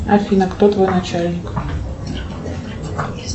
афина кто твой начальник